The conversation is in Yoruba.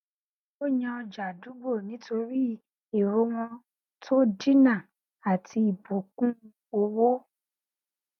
ó yàn ọjà àdúgbò nítorí ẹrọ wọn tó dínà àti ibùkún owó